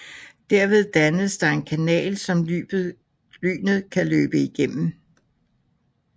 Derved dannes der en kanal som lynet kan løbe igennem